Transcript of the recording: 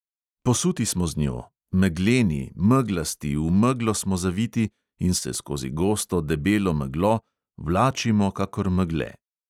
Posuti smo z njo, megleni, meglasti, v meglo smo zaviti in se skozi gosto, debelo meglo vlačimo kakor megle.